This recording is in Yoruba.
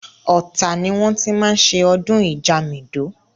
Ọ̀tà ni wọ́n ti máa ń ṣe ọdún Ìjamìdó.